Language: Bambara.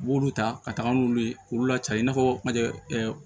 U b'olu ta ka taga n'olu ye k'olu laca i n'a fɔ majɛ